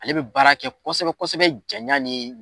Ale be baara kɛ kosɛbɛ kosɛbɛ janya ni